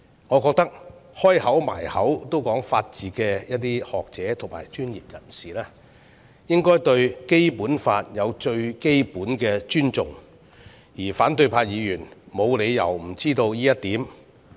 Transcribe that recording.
我認為經常將法治掛在口邊的學者和專業人士，應該對《基本法》有最基本的尊重，而反對派議員沒有理由不知道這一點。